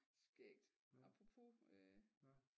Skægt apropos øh